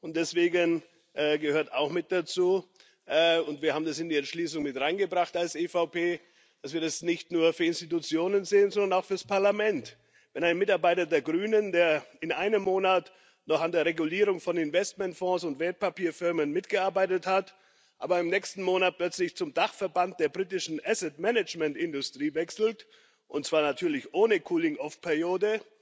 Und deswegen gehört auch mit dazu und wir als EVP haben das in die Entschließung mit hineingebracht dass wir das nicht nur für Institutionen sehen, sondern auch für das Parlament Wenn ein Mitarbeiter der Grünen, der in einem Monat noch an der Regulierung von Investmentfonds und Wertpapierfirmen mitgearbeitet hat, im nächsten Monat plötzlich zum Dachverband der britischen Asset Management Industrie wechselt, und zwar natürlich ohne Cooling off Periode,